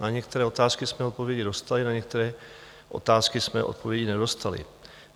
Na některé otázky jsme odpovědi dostali, na některé otázky jsme odpovědi nedostali.